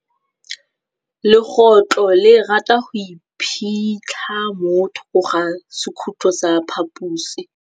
Legôtlô le rata go iphitlha mo thokô ga sekhutlo sa phaposi.